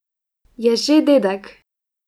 Je že dedek.